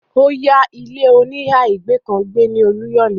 ó ya ilé-oníhà ìgbé kan gbé ní Olúyòlé.